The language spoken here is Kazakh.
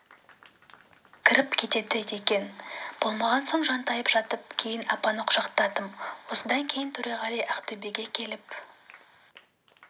кіріп кетеді екен болмаған соң жантайып жаттым кейін апаны құшақтадым осыдан кейін төреғали ақтөбеге келіп